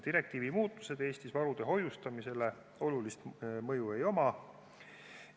Direktiivi muudatustel Eestis varude hoiustamisele olulist mõju ei ole.